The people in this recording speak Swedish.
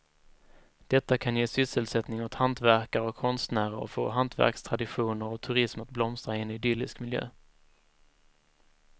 Detta kan ge sysselsättning åt hantverkare och konstnärer och få hantverkstraditioner och turism att blomstra i en idyllisk miljö.